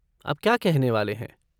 आप क्या कहने वाले हैं?